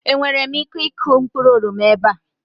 Enwere m ike ịkụ mkpụrụ oroma ebe a?